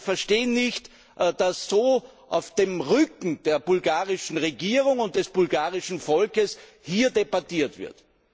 Wir verstehen nicht, dass auf dem Rücken der bulgarischen Regierung und des bulgarischen Volkes hier so debattiert wird.